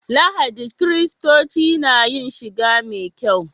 Lahadi kiristoci na yin shiga mai kyau.